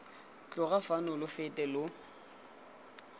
tloga fano lo fete lo